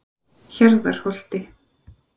Hjarðarholti